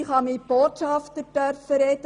Ich durfte mit Botschaftern sprechen.